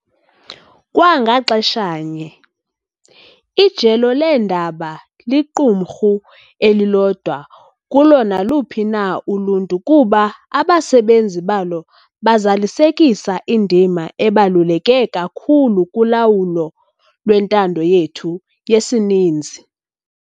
Kwa ngaxeshanye, ijelo leendaba liqumrhu elilodwa kulo naluphi na uluntu kuba abasebenzi balo bazalisekisa indima ebaluleke kakhulu kulawulo lwentando yethu yesininzi.